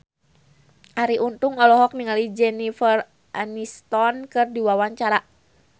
Arie Untung olohok ningali Jennifer Aniston keur diwawancara